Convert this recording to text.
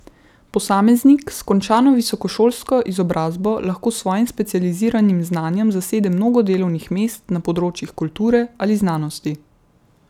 Posameznik s končano visokošolsko izobrazbo lahko s svojim specializiranim znanjem zasede mnogo delovnih mest na področjih kulture ali znanosti.